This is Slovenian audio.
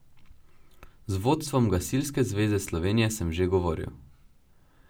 Z vodstvom gasilske zveze Slovenije sem že govoril.